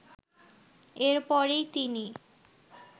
এর পরেই তিনি